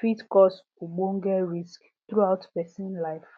fit cause ogbonge risk throughout persin life